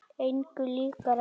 Engu líkara en